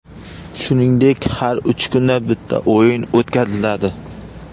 Shuningdek, har uch kunda bitta o‘yin o‘tkaziladi.